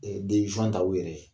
ta u yɛrɛ ye